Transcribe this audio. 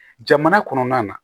Jamana kɔnɔna na